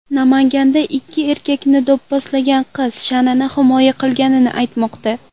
Namanganda ikki erkakni do‘pposlagan qiz sha’nini himoya qilganini aytmoqda.